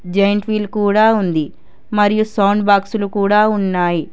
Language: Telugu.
జాయింట్ వీల్ కూడా ఉంది మరియు సౌండ్ బాక్స్ లు కూడా ఉన్నాయి.